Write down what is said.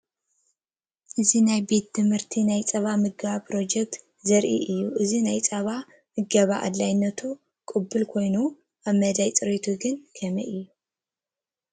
እዚ ናይ ቤት ትምህርቲ ናይ ፀባ ምገባ ፕሮጀክት ዘርኢ እዩ፡፡ እዚ ናይ ፀባ ምገባ ኣድላይነቱ ቅቡል ኮይኑ፡፡ ኣብ መዳይ ፅሬቱ ግን ከመይ እዩ?